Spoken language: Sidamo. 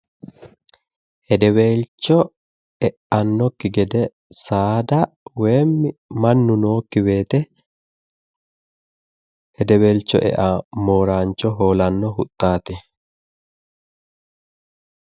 Hedeweelcho e'annokki gede saada woyi mannu nookki woyite eawo mooraancho hoolaanno huxxaati.